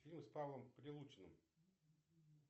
фильмы с павлом прилучным